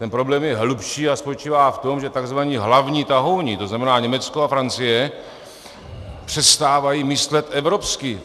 Ten problém je hlubší a spočívá v tom, že tzv. hlavní tahouni, to znamená Německo a Francie, přestávají myslet evropsky.